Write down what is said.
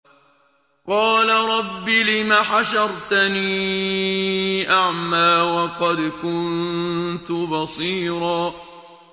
قَالَ رَبِّ لِمَ حَشَرْتَنِي أَعْمَىٰ وَقَدْ كُنتُ بَصِيرًا